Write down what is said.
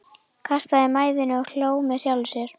Kastaði mæðinni og hló með sjálfum sér.